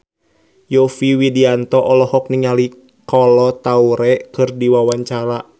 Yovie Widianto olohok ningali Kolo Taure keur diwawancara